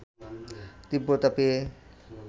তীব্রতা পেয়ে